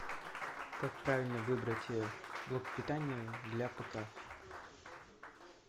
как правильно выбрать блок питания для пк